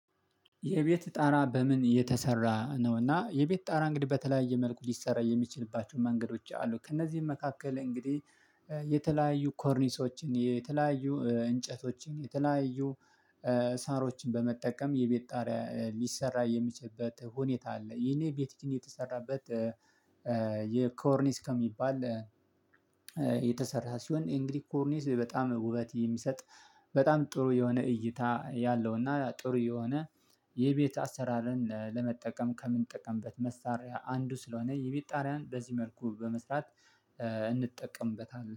የቤት ጣራ በምን የተሰራ ነው? እና የቤት ጣራ እንግዲህ በተለያየ መልኩ ሊሰራ የሚችልባቸው መንገዶች አሉ። ከእነዚህም መካከል እንግዲህ የተለያዩ ኮርኒሶችን የተለያዩ እንጨቶችን የተለያዩ ሳሮችን በመጠቀም የቤት ጣሪያ ሊሰራ የሚችበት ሁኔታ አለ። ይሄ ቤት ጣራ የተሰራበት ኮርኒስ ከሚባል የተሰራች ሲሆን እንግዲህ ኮርኒስ በጣም ውበት የሚሰጥ በጣም ጥሩ የሆነ እይታ ያለው። እና ጥሩ የሆነ የቤት አሰራርን ለመጠቀም ከምንጠቀምበት መሳሪያ አንዱ ስለሆነ የቤት ጣሪያን በዚህ መልኩ በመስራት እንጠቀምበታለን